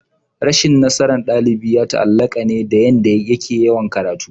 Rashin nasaran dalibi ya taallaka ne dayanda yake yawan karatu